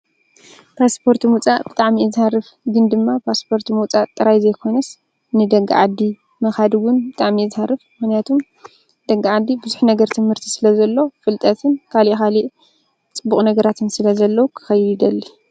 ፓስፖርት ምውፃእ ብጣዕሚ እየ ዝሃርፍ፡፡ ግን ድማ ፓስፖርት ምውፃእ ጥራይ ዘይኮነስ ንደገ ዓዲ ምኻድ ውን ብጣዕሚ እየ ዝሃርፍ፡፡ ምኽንያቱ ኣብ ደገ ዓዲ ቡዙሕ ነገር ትምህርቲ ስለዘሎ ፍልጠትን ካሊእ ካሊእ ፅቡቕ ነገራትን ስለዘሎ ክኸይድ ይደሊ፡፡